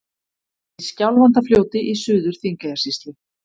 Í Skjálfandafljóti í Suður-Þingeyjarsýslu.